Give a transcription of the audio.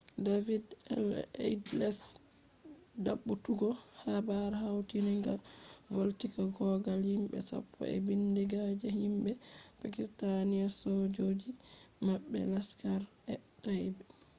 david headley`s dabbutogo habar hautin ga do vallita kogal himbe sapppo en bindiga je himbe pakistanisojoji mabbe laskhar-e-taiba